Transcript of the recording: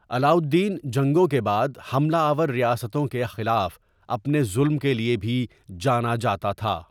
علاؤالدین جنگوں کے بعد حملہ آور ریاستوں کے خلاف اپنے ظلم کے لیے بھی جانا جاتا تھا۔